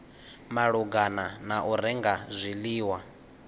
malugana na u renga zwiḽiwa